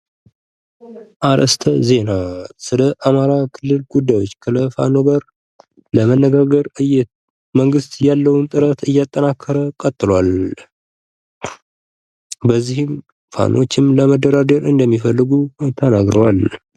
አርስተ ዜና ስለ አማራ ክልል ጉዳዮች ከፋኖ ጋር ለመነጋገር መንግት ያለውን ጥረት እያጠናከረ ቀጥሏል። በዚህም ፋኖቹ ለመደራደር እንደሚፈልጉ ተናግረዋል።